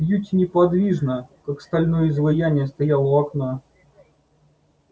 кьюти неподвижно как стальное изваяние стоял у окна